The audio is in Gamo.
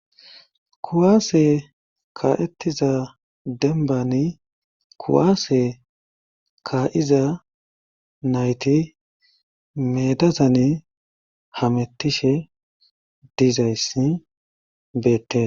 kuwaase ka'ettiza denbani kuwaase ka7'iza nayti meedazani hamettishe dizayssi beettes